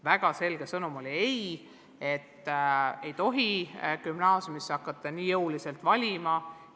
Väga selge sõnum oli, et ei tohi gümnaasiumisse hakata õpilasi nii jõuliselt valima.